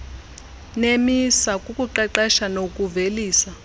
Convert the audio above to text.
nemisa kukuqeqesha nokuvelisa